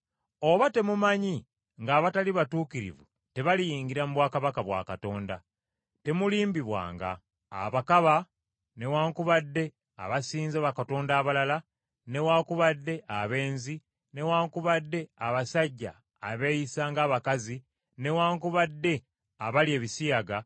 Oba temumanyi ng’abatali batuukirivu tebaliyingira mu bwakabaka bwa Katonda? Temulimbibwanga. Abakaba, newaakubadde abasinza bakatonda abalala, newaakubadde abenzi, newaakubadde abasajja abeeyisa ng’abakazi, newaakubadde abalya ebisiyaga,